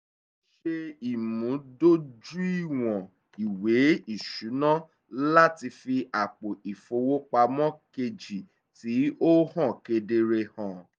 ó ṣe ìmúdójúìwọ̀n ìwé ìṣúná láti fi àpò ìfowópamọ́ kejì tí ó hàn kedere hàn